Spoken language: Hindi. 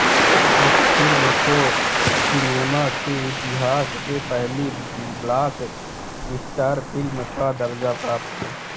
इस फिल्म को सिनेमा के इतिहास में पहली ब्लॉक बस्टर फिल्म का दर्जा प्राप्त है